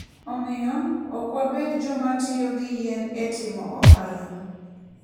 Omiyo, ok wabed joma tiyo gi yien e timo ohala.